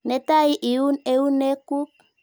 Netai iun eunek kuk.